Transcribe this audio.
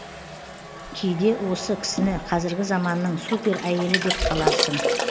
кейде осы кісіні қазіргі заманның супер әйелі деп қаларсын